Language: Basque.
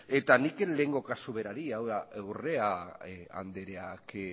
eta nik kasu berari hau da urrea andreak